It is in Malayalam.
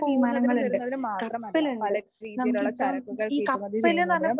പോകുന്നതിനും വരുന്നതിനും മാത്രമല്ല പല രീതിയിലുള്ള ചരക്കുകൾ കയറ്റുമതി ചെയ്യുന്നതിനും